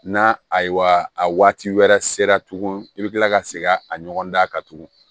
Na ayiwa a waati wɛrɛ sera tuguni i bɛ kila ka segin a ɲɔgɔn dan kan tuguni